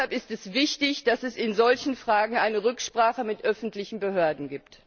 Deshalb ist es wichtig, dass es in solchen Fragen eine Rücksprache mit öffentlichen Behörden gibt.